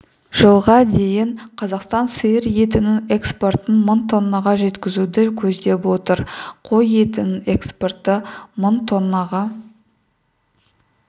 жылға дейін қазақстан сиыр етінің экспортын мың тоннаға жеткізуді көздеп отыр қой етінің экспорты мың тоннаға